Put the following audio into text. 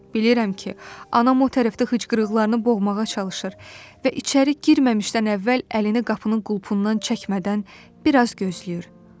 Bilirəm ki, anam o tərəfdə hıçqırıqlarını boğmağa çalışır və içəri girməmişdən əvvəl əlini qapının qulpundan çəkmədən bir az gözləyir.